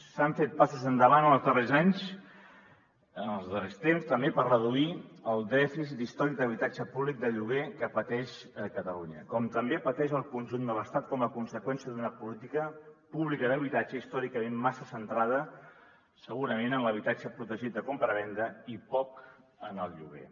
s’han fet passos endavant en els darrers anys en els darrers temps també per reduir el dèficit històric d’habitatge públic de lloguer que pateix catalunya com també pateix el conjunt de l’estat com a conseqüència d’una política pública d’habitatge històricament massa centrada segurament en l’habitatge protegit de compravenda i poc en el lloguer